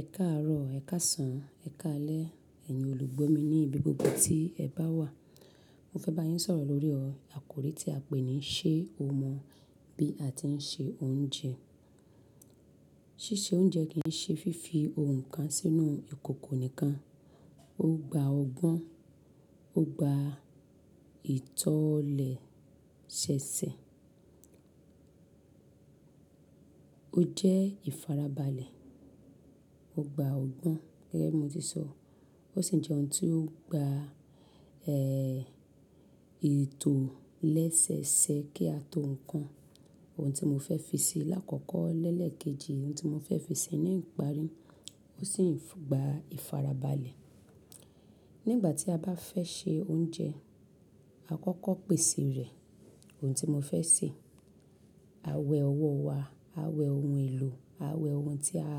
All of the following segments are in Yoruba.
Ẹ̀ka àárọ̀, ẹ̀ka sàn, ẹ̀ka alẹ́, ẹ̀yin olùgbọ́ mi ní ibi gbogbo tí ẹ bá wà. Mo fẹ́ bá yín sọ̀rọ̀ lórí ọ àkòrí tí a pé ní ṣé o mọ̀ bí a ti ń ṣe oúnjẹ? Sísè oúnjẹ kì í ṣe fífi ohun kan sínú ìkòkò nìkan, ó gba ọgbọ́n, ó gba ìtọ̀lẹ̀ ṣẹṣẹ. Ó jẹ́ ìfarabalẹ̀, ó gba ọgbọ́n gẹ́gẹ́ bí mo ti sọ. Ó sì ń jẹ́ ohun tí ó gba, ẹ́, ètò lẹ́sẹẹsẹ kí a tó ń kan. Ohun tí mo fẹ́ fi sí i lákọ̀ọ̀kọ́ lẹ́lẹ̀ kejì, ohun tí mo fẹ́ fi sí i ní ìparí, ó sì ń gba ìfarabalẹ̀. Nígbà tí a bá fẹ́ ṣe oúnjẹ, a kọ́kọ́ pèsè rẹ̀. Ohun tí mo fẹ́ sè, a wẹ ọwọ́ wa, a wẹ ohun èlò, a wẹ ohun tí a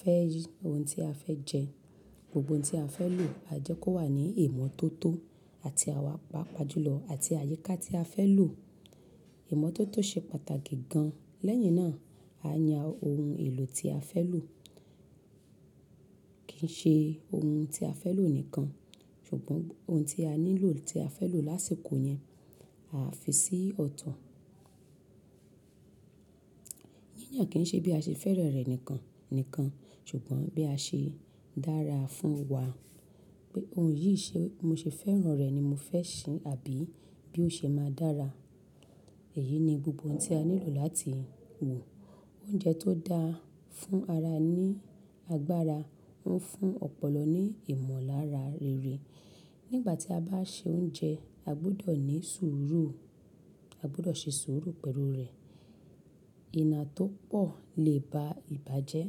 fẹ́ yí, ohun tí a fẹ́ jẹ. Gbogbo ohun tí a fẹ́ lò á jẹ́ kó wà ní ìmọ́tótó àti àwàpa pajúlọ àti àyíká tí a fẹ́ lò. Ìmọ́tótó ṣe pàtàkì gan. Lẹ́yìn náà, a yan ohun èlò tí a fẹ́ lò. Kì í ṣe ohun tí a fẹ́ lò nìkan, ṣùgbọ́n ohun tí a ní lò tí a fẹ́ lò lásìkò yẹn, a fi sí ọ̀tọ̀. Yíyan kì í ṣe bí a ṣe fẹ́rẹ̀ rẹ̀ nìkan, nìkan, ṣùgbọ́n bí a ṣe dára fún wa. Pé ohun yìí ṣe mo ṣe fẹ́ràn rẹ̀ ni mo fẹ́ sè àbí bí ó ṣe máa dára. Èyí ni gbogbo ohun tí a ní lò láti wò. Oúnjẹ tó dáa fún ara ní agbára, ń fún ọpọlọ ní ìmọ̀lára rere. Nígbà tí a bá ṣe oúnjẹ, a gbọdọ̀ ní sùúrù, a gbọdọ̀ ṣe sùúrù pẹ̀lú rẹ̀. Iná tó pọ̀ lè ba ìbà jẹ́.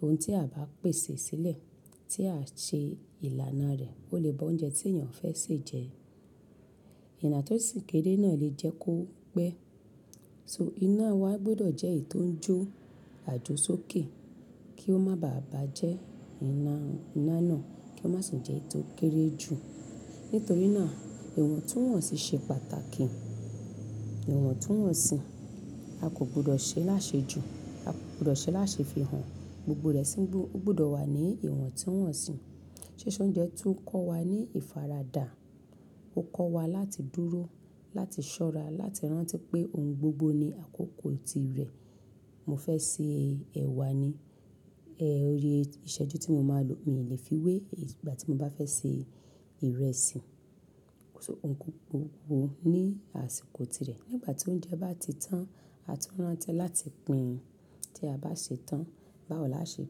Ohun tí a bá pèsè sílẹ̀ tí a ṣe ìlànà rẹ̀ kò lè bá oúnjẹ tí ènìyàn fẹ́ sè jẹ. Iná tó sìkéde náà lè jẹ́ kó pẹ́. So iná wa gbọdọ̀ jẹ́ ètò ń jó àjo sókè kí ó má bàà bà jẹ́ iná, iná náà kí ó má sì jẹ́ ètò kéré ju. Nítorí náà, ìwọ̀ntúnwọ̀nsì ṣe pàtàkì. Ìwọ̀ntúnwọ̀nsì, a kò gbọdọ̀ ṣe láṣejù, a kò gbọdọ̀ ṣe láṣe fi hàn. Gbogbo rẹ̀ sì ń gbọ, ó gbọdọ̀ wà ní ìwọ̀ntúnwọ̀nsì. Sísè oúnjẹ tún ń kọ́ wa ní ìfaradà. Ó ń kọ́ wa láti dúró, láti ṣọ́ra, láti rántí pé ohun gbogbo ní àkókò tirẹ̀. Mo fẹ́ sè ẹ̀wà ni, ẹ́, orí ìṣẹ́jú tí mo máa lò, mi ò lè fi wé ìgbà tí mo bá fẹ́ sè ìrẹsì. So ohun gbogbo ní àsìkò tirẹ̀. Nígbà tí oúnjẹ bá ti tán, a tún rántí láti pìn ín. Tí a bá sè tán, báwo láti ṣe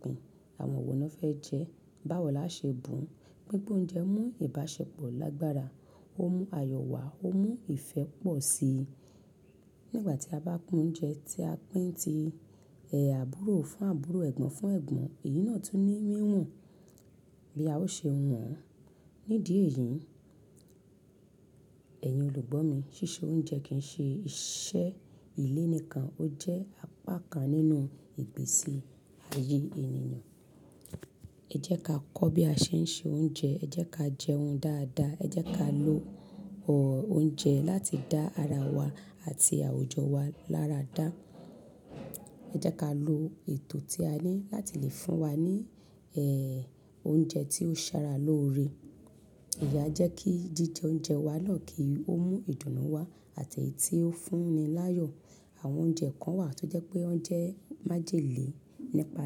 pìn ín. Àwọn wo ló fẹ́ jẹ ẹ́? Báwo là ṣe bùn ún? Gbigba oúnjẹ mú ìbáṣepọ̀ lágbára, ó mú ayọ̀ wá, ó mú ìfẹ́ pọ̀ sí i. Nígbà tí a bá kun oúnjẹ tí a pín tí, ẹ, àbúrò fún àbúrò, ẹ̀gbọ́n fún ẹ̀gbọ́n, èyí náà tún ní míwùn bí a ó ṣe wùwàn. Nídìí èyí, ẹ̀yin olùgbọ́ mi, ṣíṣe oúnjẹ kì í ṣe iṣẹ́ ilé nìkan, ó jẹ́ apá kan nínú ìgbésí ayé ènìyàn. Ẹ jẹ́ ká kọ́ bí a ṣe ń ṣe oúnjẹ, ẹ jẹ́ ká jẹun dáadáa, ẹ jẹ́ ká lo ọ oúnjẹ láti dá ara wa àti àwùjọ wa láradá. Ẹ jẹ́ ká lo ètò tí a ní láti lè fún wa ní, ẹ́, oúnjẹ tí ó ṣára lóore. Ìyá jẹ́ kí jíjẹ oúnjẹ wa náà kí ó mú ìdùnnú wá àti èyí tí ó fúnni láyọ̀. Àwọn oúnjẹ kan wà tó jẹ́ pé wọ́n jẹ́ májèlé nípa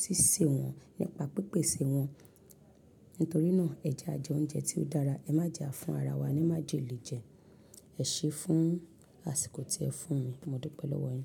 ṣíṣe wọn, nípa pípèsè wọn. Nítorí náà, ẹ jẹ àjẹ oúnjẹ tí ó dára, ẹ má jẹá fún ara wa ní májèlé jẹ. Ẹ ṣé é fún àsìkò tí ẹ fún mi. Mo dúpẹ́ lọ́wọ́ ẹ.